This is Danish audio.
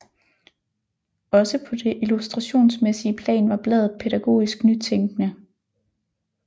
Også på det illustrationsmæssige plan var bladet pædagogisk nytænkende